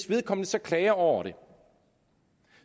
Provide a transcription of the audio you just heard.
vedkommende så klager over det